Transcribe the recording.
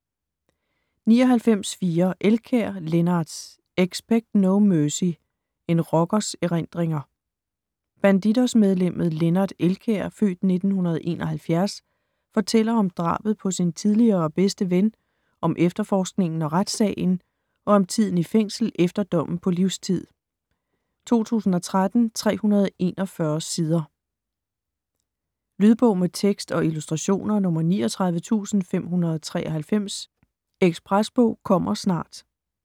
99.4 Elkjær, Lennart Expect no mercy: en rockers erindringer Bandidos-medlemmet Lennart Elkjær (f. 1971) fortæller om drabet på sin tidligere bedste ven, om efterforskningen og retssagen, og om tiden i fængsel efter dommen på livstid. 2013, 341 sider. Lydbog med tekst og illustrationer 39593 Espresbog - kommer snart